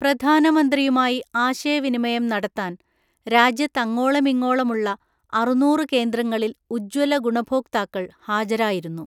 പ്രധാനമന്ത്രിയുമായി ആശയവിനിമയം നടത്താന്‍ രാജ്യത്തങ്ങോളമിങ്ങോളമുള്ള അറുനൂറു കേന്ദ്രങ്ങളില്‍ ഉജ്ജ്വലഗുണഭോക്താക്കള്‍ ഹാജരായിരുന്നു.